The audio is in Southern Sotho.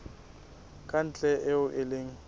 ka ntle eo e leng